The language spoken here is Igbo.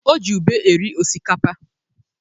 O ji ube eri osikapa.